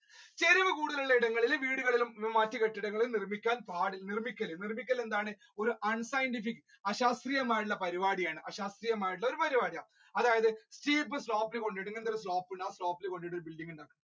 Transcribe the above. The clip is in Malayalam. ചരിവുകൾ കൂടുതൽ ഉള്ള ഇടങ്ങളിൽ വീടുകളും മറ്റു കെട്ടിടങ്ങളും പാടില്ല നിർമ്മിക്കരുത് നിർമിക്കൽ എന്താണ് ഒരു unscientific അശാസ്ത്രിയമായിട്ടുള്ള പരിപാടിയാണ് അശാസ്ത്രിയമായിട്ടുള്ള പരിപാടിയാണ് അതായത്